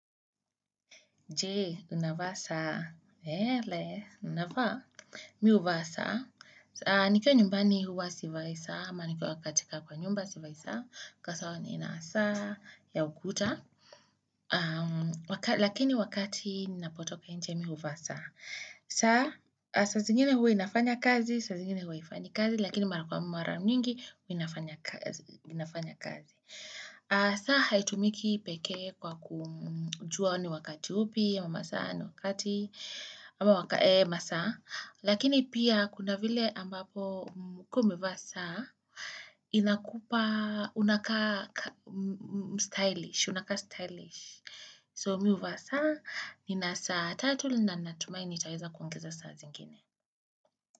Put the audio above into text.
Jee, unavaa saa. Hele, unavaa. Mi uvaa saa. Nikiwa nyumbani huwa sivai saa. Hama nikiwa katika kwa nyumba sivai saa. Kwa sawa nina saa ya ukuta. Lakini wakati ninapotoka inje mi uvaa saa. Saa, saa zingine huwa inafanya kazi, saa zingine huwa haifanyi kazi. Lakini mara kwa mara nyingi huwa inafanya kazi. Saa, haitumiki peke kwa kujua ni wakati upi. Ama masa anu wakati ama masa lakini pia kuna vile ambapo ukiwa umevaa saa inakupa unaka stylish unaka stylish so mimi huvaa saa nina saa tatu na natumai nitaweza kuongeza saa zingine.